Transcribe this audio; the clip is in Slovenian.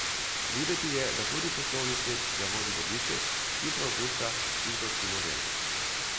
Videti je, da tudi poslovni svet, ki ga vodi dobiček, hitro opušča tigrovski model.